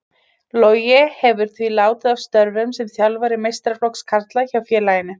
Logi hefur því látið af störfum sem þjálfari meistaraflokks karla hjá félaginu.